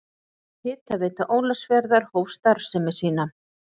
Hitaveita Ólafsfjarðar hóf starfsemi sína.